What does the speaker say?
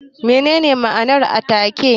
Me ne ne ma'anar taake?